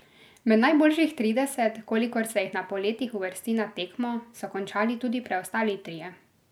Med najboljših trideset, kolikor se jih na poletih uvrsti na tekmo, so končali tudi preostali trije.